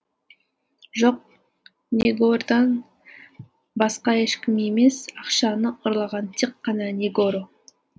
жоқ негордан басқа ешкім емес ақшаны ұрлаған тек қана негоро